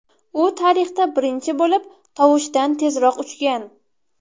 U tarixda birinchi bo‘lib tovushdan tezroq uchgan.